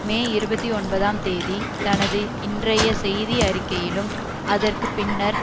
மே இருபத்தி ஒன்பதாம் தேதி தனது இன்றைய செய்தி அறிக்கையிலும் அதற்கு பின்னர்